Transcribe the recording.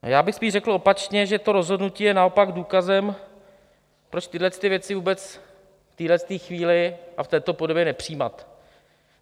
Já bych spíš řekl opačně, že to rozhodnutí je naopak důkazem, proč tyhle věci vůbec v téhle chvíli a v této podobě nepřijímat.